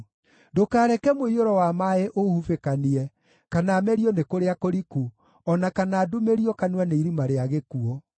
Ndũkareke mũiyũro wa maaĩ ũũhubĩkanie, kana merio nĩ kũrĩa kũriku, o na kana ndumĩrio kanua nĩ irima rĩa gĩkuũ.